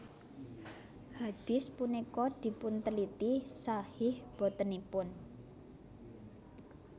Hadits punika dipunteliti shahih botenipun